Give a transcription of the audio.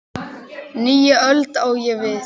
Nýja öld, á ég við.